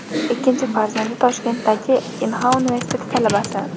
Ikkinchi farzandi Toshkentdagi Inha universiteti talabasi.